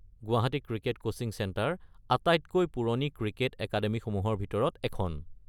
Guwahati cricket coaching centre আটাইতকৈ পুৰণি cricket একাডেমিসমূহৰ ভিতৰত এখন।